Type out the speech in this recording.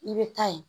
I bɛ taa ye